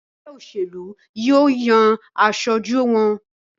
ègbé òṣèlú yíò yàn aṣojú wón.